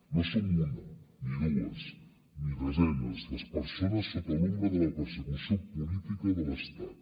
no som una ni dues ni desenes les persones sota l’ombra de la persecució política de l’estat